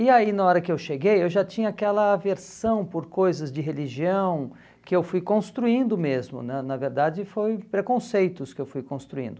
E aí na hora que eu cheguei eu já tinha aquela aversão por coisas de religião que eu fui construindo mesmo, na na verdade foi preconceitos que eu fui construindo.